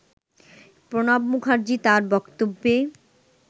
প্রণব মুখার্জি তার বক্তব্যে